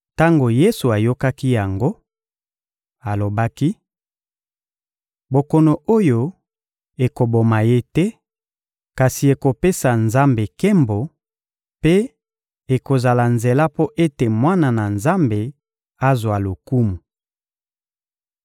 Tango Yesu ayokaki yango, alobaki: — Bokono oyo ekoboma ye te, kasi ekopesa Nzambe nkembo mpe ekozala nzela mpo ete Mwana na Nzambe azwa lokumu.